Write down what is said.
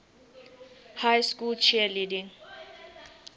high school cheerleading